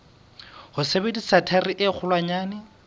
ho sebedisa thaere e kgolwanyane